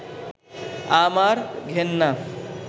আমার ঘেন্না